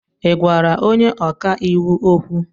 Ị gwara onye ọka iwu okwu?